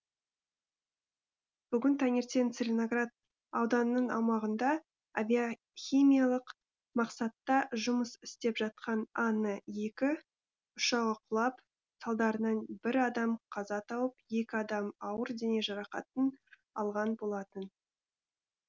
бүгін таңертең целиноград ауданының аумағында авиахимиялық мақсатта жұмыс істеп жатқан ан екі ұшағы құлап салдарынан бір адам қаза тауып екі адам ауыр дене жарақатын алған болатын